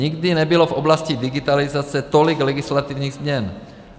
Nikdy nebylo v oblasti digitalizace tolik legislativních změn.